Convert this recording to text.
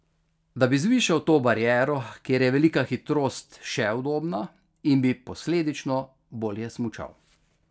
Da bi zvišal to bariero, kjer je velika hitrost še udobna in bi posledično boljše smučal.